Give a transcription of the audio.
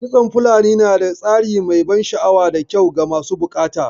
Kitson fulani na da tsari mai ban sha'awa da kyau ga masu buƙata